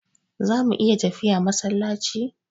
Zamu iya tafiya masallaci?